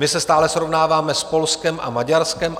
My se stále srovnáváme s Polskem a Maďarskem.